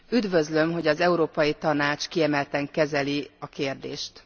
Üdvözlöm, hogy az Európai Tanács kiemelten kezeli a kérdést.